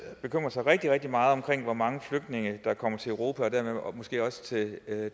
bekymrer sig rigtig rigtig meget om hvor mange flygtninge der kommer til europa og måske dermed også til